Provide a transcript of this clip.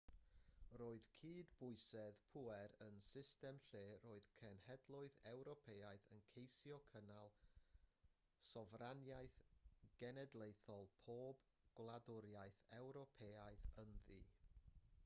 roedd cydbwysedd pŵer yn system lle roedd cenhedloedd ewropeaidd yn ceisio cynnal sofraniaeth genedlaethol pob gwladwriaeth ewropeaidd ynddi